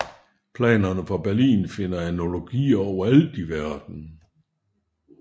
Planerne for Berlin finder analogier overalt i verden